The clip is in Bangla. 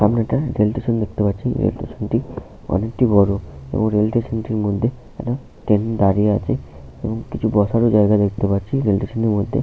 সামনে একটা রেল স্টেশন দেখতে পাচ্ছি । রেল স্টেশন - টি অনেক বড় এবং রেল স্টেশন - টির মধ্যে ট্রেনও দাঁড়িয়ে আছে । এবং কিছু বসারও জায়গা দেখতে পাচ্ছি রেল স্টেশন - টির মধ্যে।